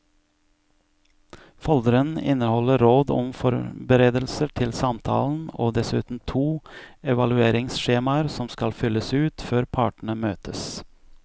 Folderen inneholder råd om forberedelser til samtalen og dessuten to evalueringsskjemaer som skal fylles ut før partene møtes.